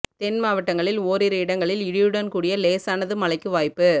தென் மாவட்டங்களில் ஓரிரு இடங்களில் இடியுடன் கூடிய லேசானது மழைக்கு வாய்ப்பு